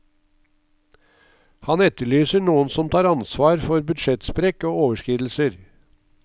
Han etterlyser noen som tar ansvar for budsjettsprekk og overskridelser.